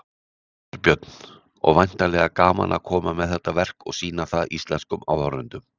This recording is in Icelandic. Þorbjörn: Og væntanlega gaman að koma með þetta verk og sýna það íslenskum áhorfendum?